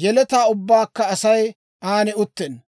yeletaa ubbankka Asay an uttenna.